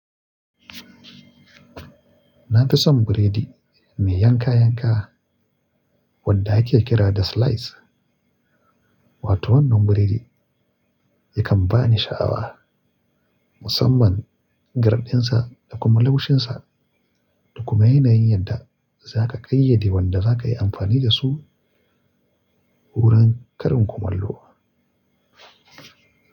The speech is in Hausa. Na fi son biredi mai yanka-yanka wanda ake kira da slice. Wato wannan biredi yakan bani sha'awa musamman garɗinsa da kuma laushinsa da kuma yanayin yadda za ka ƙayyade wanda za ka yi amfani da su wurin karin kumallo.